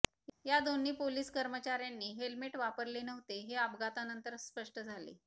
या दोन्ही पोलीस कर्मचाऱयांनी हेल्मेट वापरले नव्हते हे अपघातानंतर स्पष्ट झाले